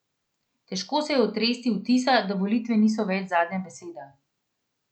Težko se je otresti vtisa, da volitve niso več zadnja beseda.